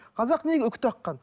қазақ неге үкі таққан